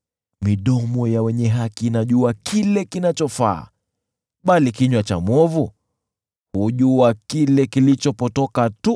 Midomo ya wenye haki inajua kile kinachofaa, bali kinywa cha mwovu hujua kile kilichopotoka tu.